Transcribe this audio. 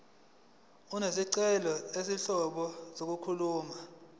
izincazelo zezinhlobo zokuxhumana